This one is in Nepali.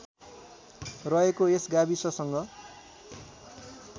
रहेको यस गाविससँग